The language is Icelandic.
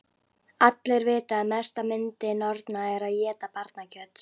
Allir vita að mesta yndi norna er að éta barnakjöt.